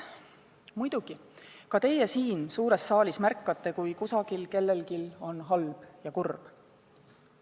Muidugi, ka teie siin suures saalis märkate, kui kusagil on kellelgi halb ja keegi on kurb.